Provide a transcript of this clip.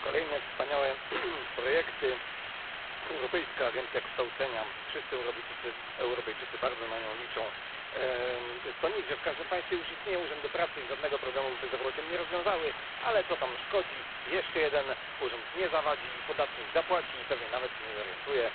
Cieszę się kolejne wspaniałe projekty, Europejskie Centrum Rozwoju Kształcenia Zawodowego wszyscy Europejczycy bardzo na nie liczą. To nic, że w każdym państwie już istnieją urzędy pracy i żadnego problemu z bezrobociem nie rozwiązały, ale co tam szkodzi, jeszcze jeden urząd nie zawadzi, podatnik zapłaci i pewnie nawet się nie zorientuje.